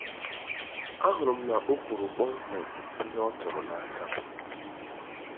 Ahụrụ m na o kwuru kpọmkwem ihe ọ chọrọ n'aka m.